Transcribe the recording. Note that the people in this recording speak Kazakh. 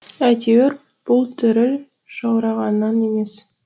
әйтеуір бұл діріл жаурағаннан емес